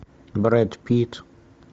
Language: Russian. брэд питт